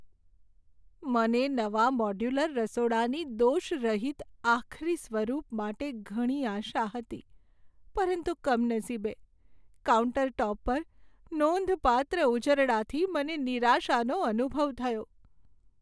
મને નવા મોડ્યુલર રસોડાની દોષરહિત આખરી સ્વરૂપ માટે ઘણી આશા હતી, પરંતુ કમનસીબે, કાઉન્ટરટૉપ પર નોંધપાત્ર ઉજરડાથી મને નિરાશાનો અનુભવ થયો.